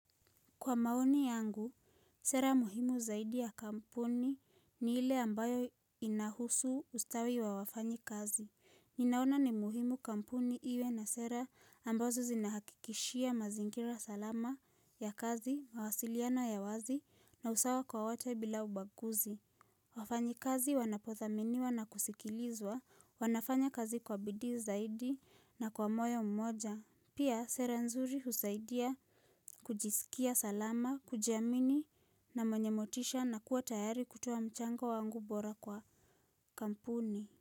Kwa maoni yangu, sera muhimu zaidi ya kampuni ni ile ambayo inahusu ustawi wa wafanyi kazi. Ninaona ni muhimu kampuni iwe na sera ambazo zinahakikishia mazinkira salama ya kazi, mawasiliano ya wazi na usawa kwa wata bila ubaguzi. Wafanyi kazi wanapothaminiwa na kusikilizwa, wanafanya kazi kwa bidii zaidi na kwa moyo mmoja. Pia sera nzuri husaidia kujisikia salama, kujiamini na mwenye motisha na kuwa tayari kutoa mchango wangu bora kwa kampuni.